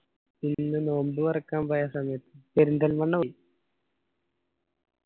ഇന്ന് നോമ്പ് തൊറക്കാൻ പോയ സമയത്ത് പെരിന്തൽമണ്ണ